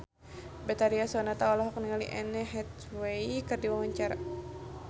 Betharia Sonata olohok ningali Anne Hathaway keur diwawancara